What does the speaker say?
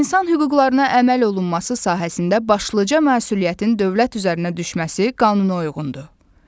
İnsan hüquqlarına əməl olunması sahəsində başlıca məsuliyyətin dövlət üzərinə düşməsi qanunauyğundur.